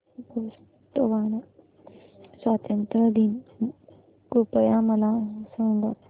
Botswana स्वातंत्र्य दिन कृपया मला सांगा